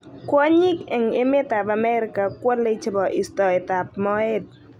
Kwonyik eng emet ab Amerika kwolei chebo istoet ab moet.